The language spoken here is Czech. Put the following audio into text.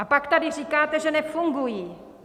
A pak tady říkáte, že nefungují.